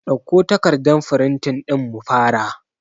Ɗauko takardan firintin ɗin mu fara